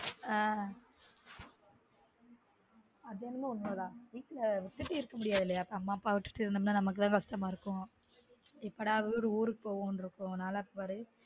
ஆஹ் அதென்னமோ உண்ம தான் வீட்ல விட்டுட்டு இருக்க முடியாதுல அம்மா அப்பாவ விட்டுட்டு இருந்தம்னா நமக்கு தான் கஷ்டமா இருக்கும் எப்படா ஊரு ஊருக்கு போவம்னு இருக்கும் நல்லா பாரேன்